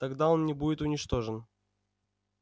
тогда он не будет уничтожен